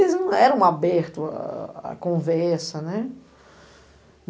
Eles não eram aberto, a conversa, né?